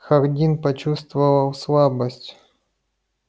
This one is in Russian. хардин почувствовал слабость